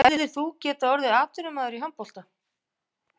Hefðir þú getað orðið atvinnumaður í handbolta?